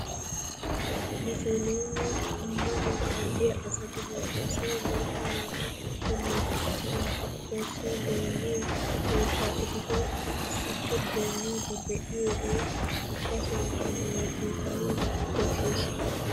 Musuluume ammanuwaa kaalliyaa asati bantta soo guutta naati attenan bantta xoossawu goyniyoo keettaa eehido issiippe goyniidi biyoogee ubbasankka mezzeyettanawu koshshees!